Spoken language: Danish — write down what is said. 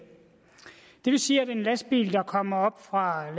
det vil sige at en lastbil der kommer op fra